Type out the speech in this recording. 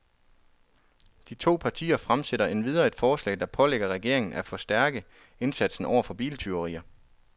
De to partier fremsætter endvidere et forslag, der pålægger regeringen af forstærke indsatsen over for biltyverier.